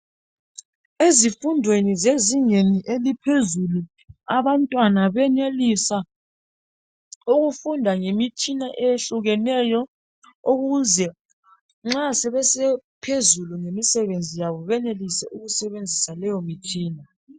EZIFUNDENI ZEZINGENI ELIPHEZULU ABANTWANA BENELISA UKUFUNDA NGEMITSHINA EYEHLUKINEYO UKWENZELA UKUTHI NXA SEBE PHEZULU EMSEBENZI YABO BENELISE UKUSEBENZISA LEYO MTSHINA